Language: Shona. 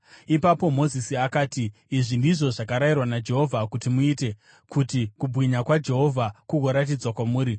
Ipapo Mozisi akati, “Izvi ndizvo zvakarayirwa naJehovha kuti muite kuti kubwinya kwaJehovha kugoratidzwa kwamuri.”